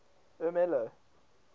ermelo